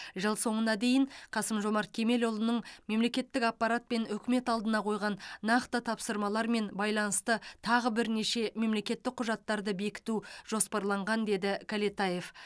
жыл соңына дейін қасым жомарт кемелұлының мемлекеттік аппарат пен үкімет алдына қойған нақты тапсырмалармен байланысты тағы бірнеше мемлекеттік құжаттарды бекіту жоспарланған деді кәлетаев